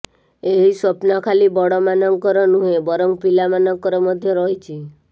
ଏହି ସ୍ୱପ୍ନ ଖାଲି ବଡ଼ମାନଙ୍କର ନୁହେଁ ବରଂ ପିଲାମାନଙ୍କର ମଧ୍ୟ ରହିଛି